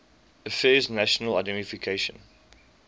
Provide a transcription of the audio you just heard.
affairs national identification